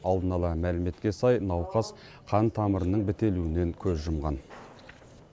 алдын ала мәліметке сай науқас қан тамырының бітелуінен көз жұмған